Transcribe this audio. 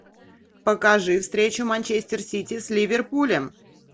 покажи встречу манчестер сити с ливерпулем